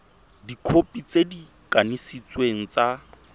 dikhopi tse di kanisitsweng tsa